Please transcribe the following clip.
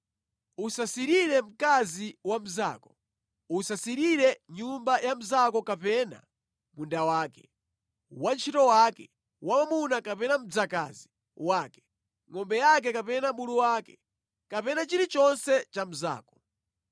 “Usasirire mkazi wa mnzako. Usasirire nyumba ya mnzako kapena munda wake, wantchito wake wamwamuna kapena mdzakazi wake, ngʼombe yake kapena bulu wake, kapena chilichonse cha mnzako.”